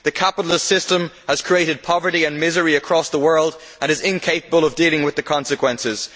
The capitalist system has created poverty and misery across the world and is incapable of dealing with the consequences.